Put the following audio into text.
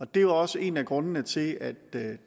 det er også en af grundene til at